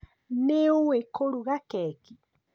Nĩuĩ kũruga keki?